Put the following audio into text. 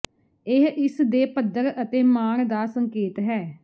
ਇਹ ਇਸ ਦੇ ਪੱਧਰ ਅਤੇ ਮਾਣ ਦਾ ਸੰਕੇਤ ਹੈ